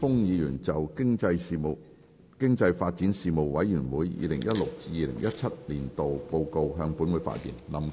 林健鋒議員就"經濟發展事務委員會 2016-2017 年度報告"向本會發言。